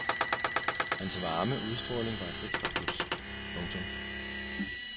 Hans varme udstråling var et ekstra plus. punktum